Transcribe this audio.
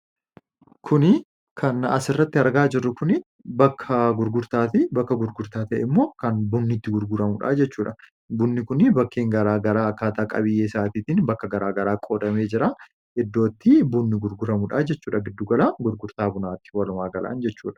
Kuni kan asirratti argaa jiru kun bakka gurgurtaati. Bakka gurgurtaa ta'e immoo kan bunni itti gurguramuudha jechuudha. Bunni kuni bakkeen garaa garaa akkaataa qabiyyee isaatiin bakka garaa garaa qoodamee jira . Iddoo bunni gurguramuudha jechuudha. Giddugalaa gurgurtaa bunaatti walumaa galaan jechuudha.